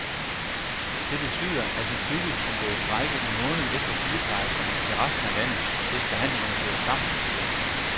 Det betyder, at vi tidligst kan gå i strejke en måned efter sygeplejerskerne i resten af landet, hvis forhandlingerne bryder sammen, siger han.